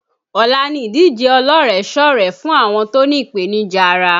Ọ̀la ni ìdíje ọlọ́rẹ̀sọ́rẹ̀ẹ́ fún àwọn tó ní ìpènìjà ara